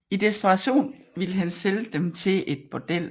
I desperation ville han sælge dem til et bordel